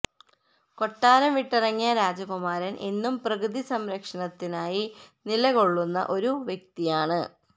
കൊട്ടാരം വിട്ടിറങ്ങിയ രാജകുമാരൻ എന്നും പ്രകൃതി സംരക്ഷണത്തിനായി നിലകൊള്ളുന്ന ഒരു വ്യക്തിയാണ്